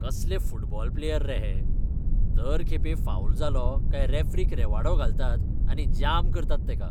कसले football player रे हे? दर खेपे फावल जालो काय रॅफरीक रेवाडो घालतात आनी जाम करतात तेका.